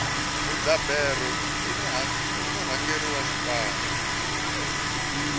mudzaberi i murhangeri wa xipano